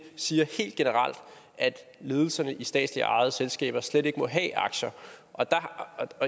siger helt generelt at ledelserne i statsligt ejede selskaber slet ikke må have aktier og